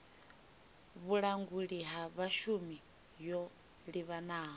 vhulanguli ha vhashumi yo livhanaho